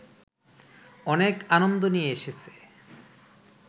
অনেক আনন্দ নিয়ে এসেছে